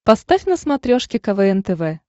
поставь на смотрешке квн тв